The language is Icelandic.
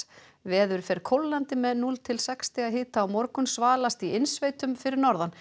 veður fer kólnandi með núll til sex stiga hita á morgun svalast í innsveitum fyrir norðan